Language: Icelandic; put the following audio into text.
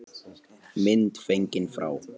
Mynd fengin frá